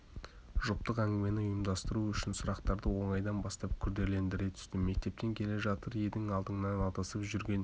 жұптық әңгімені ұйымдастыру үшін сұрақтарды оңайдан бастап күрделендіре түстім мектептен келе жатыр едің алдыңнан адасып жүрген